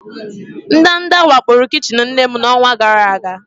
Ndanda wakporo kichin nne m n'ọnwa gara aga.